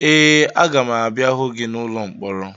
Ee, aga m abịa hụ gị n'ụlọ mkpọrọ